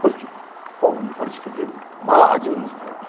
Porque povo aqui mal administrado.